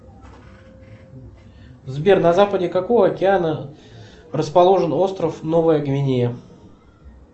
сбер на западе какого океана расположен остров новая гвинея